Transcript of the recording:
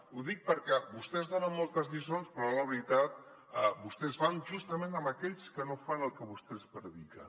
ho dic perquè vos·tès donen moltes lliçons però a l’hora de la veritat vostès van justament amb aquells que no fan el que vostès prediquen